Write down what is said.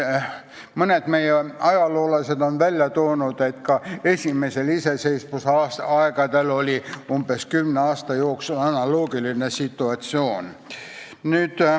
Mõned meie ajaloolased on välja toonud, et ka esimese iseseisvuse aegadel oli umbes kümne aasta jooksul analoogiline situatsioon.